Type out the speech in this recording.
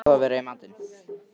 Hvað á að vera í matinn?